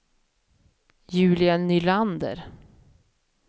Julia Nylander